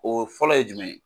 O fɔlɔ ye jumɛn ye ?